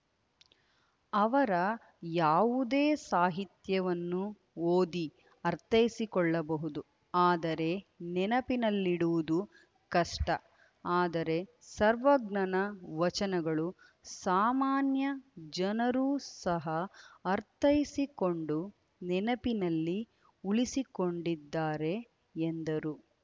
ಅವರ ಯಾವುದೇ ಸಾಹಿತ್ಯವನ್ನು ಓದಿ ಅಥೈಸಿಕೊಳ್ಳಬಹುದು ಆದರೆ ನೆನಪಿನಲ್ಲಿಡುವುದು ಕಷ್ಟ ಆದರೆ ಸರ್ವಜ್ಞನ ವಚನಗಳು ಸಾಮಾನ್ಯ ಜನರು ಸಹ ಅರ್ಥೈಸಿಕೊಂಡು ನೆನಪಿನಲ್ಲಿ ಉಳಿಸಿಕೊಂಡಿದ್ದಾರೆ ಎಂದರು